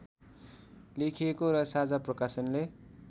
लेखिएको र साझा प्रकाशनले